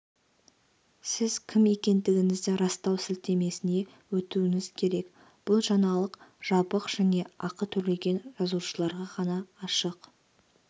сіз кім екендігіңізді растау сілтемесіне өтуіңіз керек бұл жаңалық жабық және ақы төлеген жазылушыларға ғана ашық